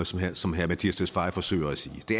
sådan som herre mattias tesfaye forsøger at sige det